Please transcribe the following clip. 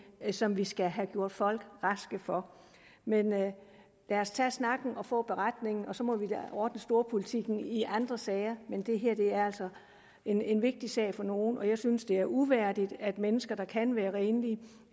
som vi skal have gjort folk raske for men lad os tage snakken og få beretningen og så må vi ordne storpolitikken i andre sager det her er altså en en vigtig sag for nogle og jeg synes det uværdigt at mennesker der kan være renlige